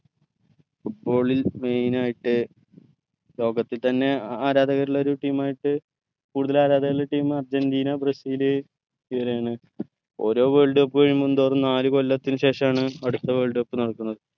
football ൽ main ആയിട്ട് ലോകത്തിതന്നെ ആരാധകരുള്ളൊരു team ആയിട്ട് കൂടുതൽ ആരാധകർ ഉള്ളൊരു team അർജന്റീന ബ്രസീൽ ഓരോ world cup കഴിയുംതോറും നാല്കൊല്ലത്തിന് ശേഷാണ് അടുത്ത world cup നടക്കുന്നത്